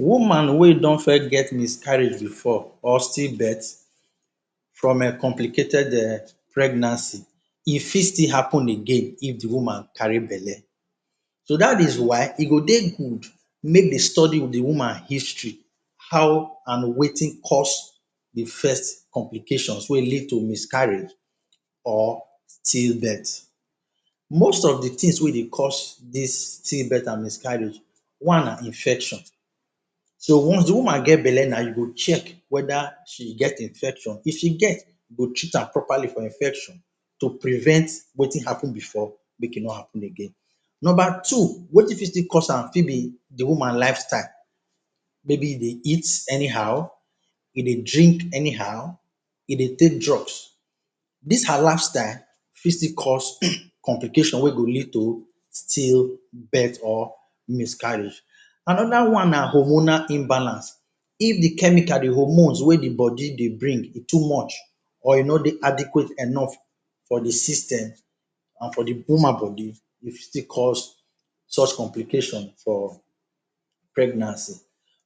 Woman wey don first get miscarriage before or still-birth from a complicated um pregnancy, e fit still happen again if the woman carry belle. So, dat is why e go dey good make de study the woman history –how an wetin cause the first complications wey lead to miscarriage or still birth. Most of the tins wey dey cause dis still-birth and miscarriage: one na infection. So, once the woman get belle now you go check whether she get infection. If she get, you go treat am properly for infection to prevent wetin happen before make e no happen again. Nomba two wetin fit still cause am fit be the woman lifestyle –maybe e dey eat anyhow, e dey drink anyhow, e dey take drugs. Dis her lifestyle fit still cause complication wey go lead to still birth or miscarriage. Another one na hormonal imbalance. If the chemicals–the hormones–wey the body dey bring e too much, or e no dey adequate enough for the system, an for the woman body, e fit still cause such complication for pregnancy.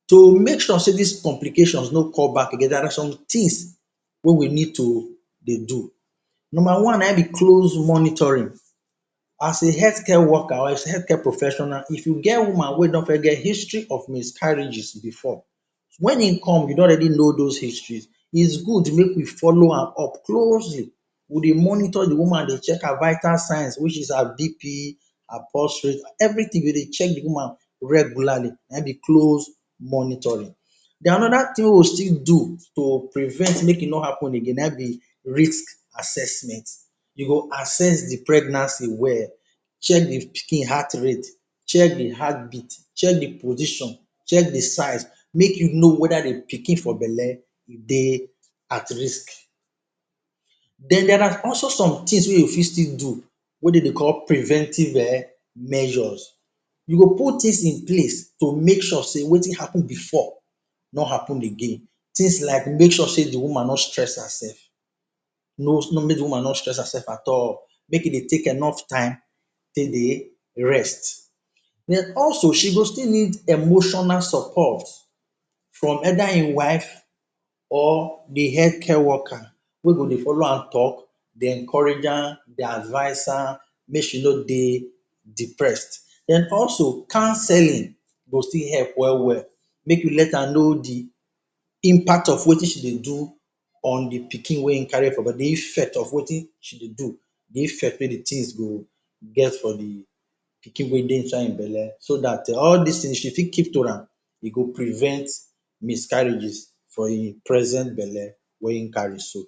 To make sure sey dis complications no come back again, there are some tins wey we need to dey do. Nomba one na ein be close monitoring. As a health care worker, or as a health care professional, if you get woman wey don first get history of miscarriages before, wen ein come, you don already know dos histories. It's good make we follow her up closely: we dey monitor the woman dey check her vital signs which is her BP, her pulse rate, everything go dey check the woman regularly, na ein be close monitoring. Then another tin we still do to prevent make e no happen again na ein be risk assessment. You go assess the pregnancy well, check the pikin heart rate, check the heartbeat, check the position, check the size make you know whether the pikin for belle dey at risk. Then, there are also some tins wey you fit still do wey de dey call preventive um measures. You go put tins in place to make sure sey wetin happen before no happen again. Tins like make sure sey the woman no stress hersef. No make the woman no stress hersef at all, make e dey take enough time take dey rest. An also, she go still need emotional support from either ein wife or the health care worker wey go dey follow am talk, dey encourage am, dey advice am make she no dey depressed. An also, counselling go still help well-well make you let am know the impact of wetin she dey do on the pikin wey ein carry for body, the effect of wetin she dey do, the effect wey the tins go get for the pikin wey dey inside ein belle so dat all dis tins she fit keep to am. E go prevent miscarriages for ein present belle wey ein carry so.